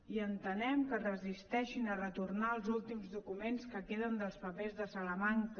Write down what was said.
i entenem que es resisteixin a retornar els últims documents que queden dels papers de salamanca